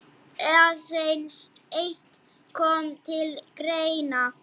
Aðeins eitt kom til greina.